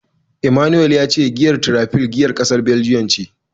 Emmanuel ya ce giyar Tiraifel giyar kasar Baljiyan ce.